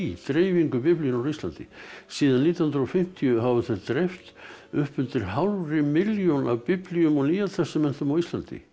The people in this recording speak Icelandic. dreifingu Biblíunnar á Íslandi síðan nítján hundruð og fimmtíu hafa þeir dreift upp undir hálfri milljón af biblíu og Nýja testamentinu á Íslandi